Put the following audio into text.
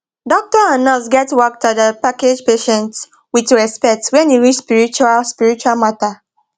doctor and nurse get work to da package patient with respect wen e reach spiritual spiritual matter